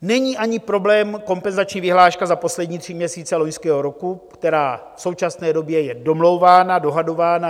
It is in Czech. Není ani problém kompenzační vyhláška za poslední tři měsíce loňského roku, která v současné době je domlouvána, dohadována.